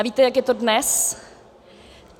A víte, jak je to dnes?